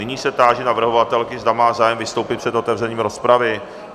Nyní se táži navrhovatelky, zda má zájem vystoupit před otevřením rozpravy.